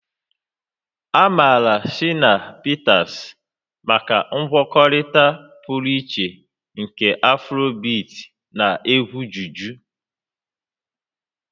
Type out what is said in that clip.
A maara Shina Peters maka ngwakọta pụrụ iche nke Afribeat na egwu juju